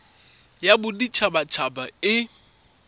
ya bodit habat haba e